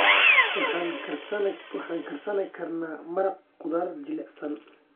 Waxaan karsan karnaa maraq khudaar jilicsan.